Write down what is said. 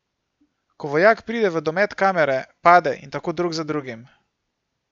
Ko vojak pride v domet kamere, pade in tako drug za drugim.